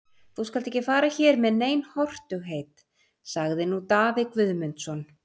Þú skalt ekki fara hér með nein hortugheit, sagði nú Daði Guðmundsson.